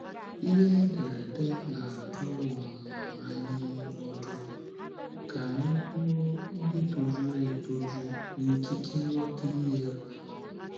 Ihe ederede na - adụ um anyị ọdụ ka anyị bụrụ ndị tojuru etoju n’ikike nghọta ihe um. um ’